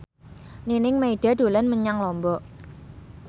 Nining Meida dolan menyang Lombok